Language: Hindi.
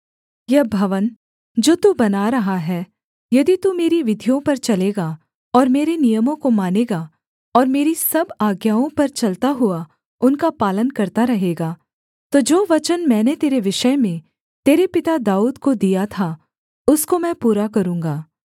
यह भवन जो तू बना रहा है यदि तू मेरी विधियों पर चलेगा और मेरे नियमों को मानेगा और मेरी सब आज्ञाओं पर चलता हुआ उनका पालन करता रहेगा तो जो वचन मैंने तेरे विषय में तेरे पिता दाऊद को दिया था उसको मैं पूरा करूँगा